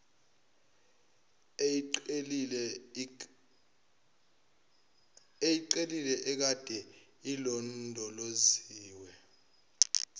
eyeqile ekade ilondoloziwe